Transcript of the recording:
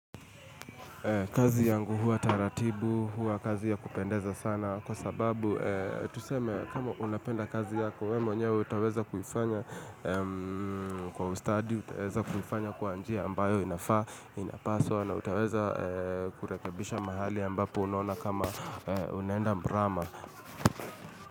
Kazi yangu huwa taratibu, huwa kazi ya kupendeza sana, kwa sababu tuseme kama unapenda kazi yako, wewe mwenyewe utaweza kuifanya kwa ustadi, utaweza kuifanya kwa njia ambayo inapaswa, na utaweza kurekebisha mahali ambapo unaona kama unaenda mrama.